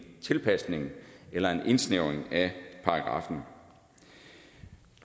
tilpasning eller en indsnævring af paragraffen